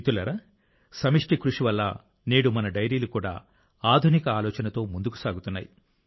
మిత్రులారా సమష్టి కృషి వల్ల నేడు మన డెయిరీలు కూడా ఆధునిక ఆలోచనతో ముందుకు సాగుతున్నాయి